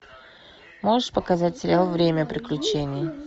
можешь показать сериал время приключений